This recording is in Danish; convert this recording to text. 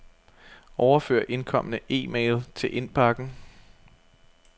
Overfør indkomne e-mail til indbakken.